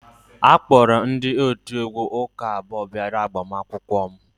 A kpọrọ ndị otiegwu ụka abụọ bịara agbamakwụkwọ m